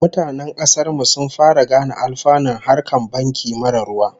Mutanen kasar mu sun fara gane alfanun harkar banki marar ruwa